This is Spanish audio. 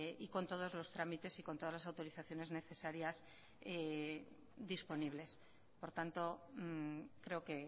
y con todos los trámites y con todas las autorizaciones necesarias disponibles por tanto creo que he